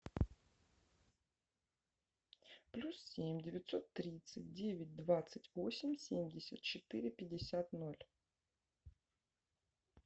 плюс семь девятьсот тридцать девять двадцать восемь семьдесят четыре пятьдесят ноль